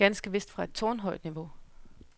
Ganske vist fra et tårnhøjt niveau.